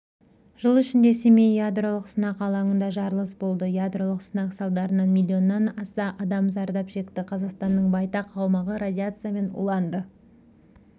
жыл ішінде семей ядролық сынақ алаңында жарылыс болды ядролық сынақ салдарынан милионнан аса адам зардап шекті қазақстанның байтақ аумағы радиациямен уланды